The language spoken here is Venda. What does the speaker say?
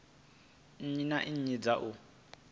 nnyi na nnyi dza u